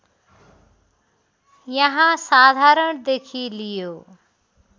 यहाँ साधारणदेखि लियो